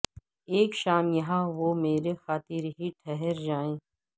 اک شام یہاں وہ مری خاطر ہی ٹھہر جائے